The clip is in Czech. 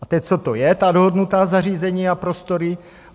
A teď, co to je, ta dohodnutá zařízení a prostory?